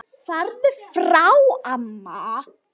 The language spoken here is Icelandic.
Farðu frá amma!